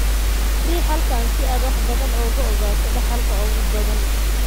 Riix halkan si aad wax badan uga ogaato dhaxalka ugu badan ee autosomal.